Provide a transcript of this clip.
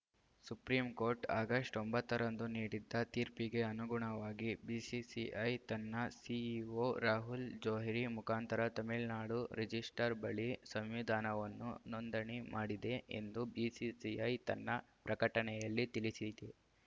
supreme court August ಒಂಬತ್ತ ರಂದು ನೀಡಿದ್ದ ತೀರ್ಪಿಗೆ ಅನುಗುಣವಾಗಿ ಬಿಸಿಸಿಐ ತನ್ನ ಸಿಇಓ ರಾಹುಲ್‌ ಜೋಹ್ರಿ ಮುಖಾಂತರ ತಮಿಳುನಾಡು ರಿಜಿಸ್ಟ್ರಾರ್‌ ಬಳಿ ಸಂವಿಧಾನವನ್ನು ನೋಂದಣಿ ಮಾಡಿದೆ ಎಂದು ಬಿಸಿಸಿಐ ತನ್ನ ಪ್ರಕಟಣೆಯಲ್ಲಿ ತಿಳಿಸಿತ್ತು